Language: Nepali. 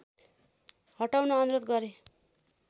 हटाउन अनुरोध गरे